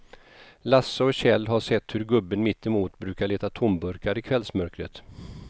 Lasse och Kjell har sett hur gubben mittemot brukar leta tomburkar i kvällsmörkret.